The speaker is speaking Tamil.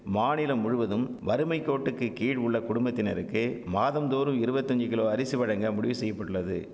மாநிலம் முழுவதும் வறுமைக்கோட்டுக்குகீழ் உள்ள குடும்பத்தினருக்கு மாதம்தோறும் இருவத்தஞ்சி கிலோ அரிசி வழங்க முடிவு செய்ய பட்டுள்ளது